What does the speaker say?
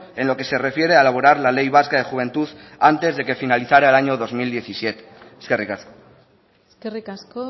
en lo que se refiere a elaborar la ley vasca de juventud antes de que finalizara el año dos mil diecisiete eskerrik asko eskerrik asko